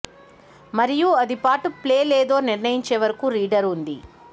మరియు అది పాటు ప్లే లేదో నిర్ణయించే వరకు రీడర్ ఉంది